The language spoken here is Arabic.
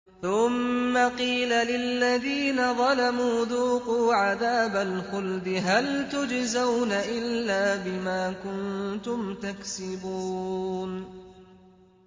ثُمَّ قِيلَ لِلَّذِينَ ظَلَمُوا ذُوقُوا عَذَابَ الْخُلْدِ هَلْ تُجْزَوْنَ إِلَّا بِمَا كُنتُمْ تَكْسِبُونَ